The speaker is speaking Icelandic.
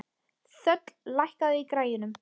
Þöll, lækkaðu í græjunum.